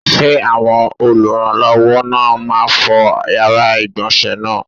Ṣé àwọn olùrànlọ́wọ́ náà máa fọ yàrá ìgbọ̀nsé náà?